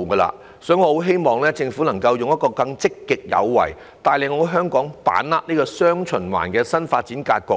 因此，我希望政府能更積極有為，帶領香港把握"雙循環"的新發展格局，